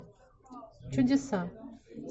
чудеса